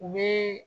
U bi